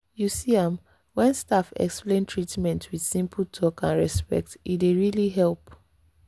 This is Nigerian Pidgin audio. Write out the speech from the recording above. you see am—when staff explain treatment with simple talk and respect e dey really help.